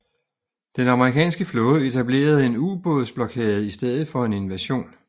Den amerikanske flåde etablerede en ubåds blokade i stedet for en invasion